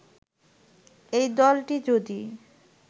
এই দলটি যদি